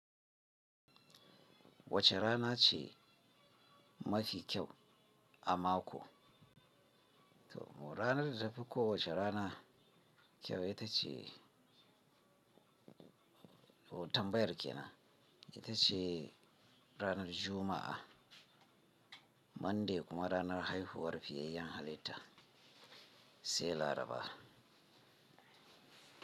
Wace rana ce mafi kyau a mako? To ranar da tafi ko wace rana kyau ita ce, tambayar kenan ita ce ranar Juma'a, Monday kuma ranar haihuwar fiyayen halitta, sai Laraba.